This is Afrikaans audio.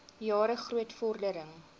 jare groot vordering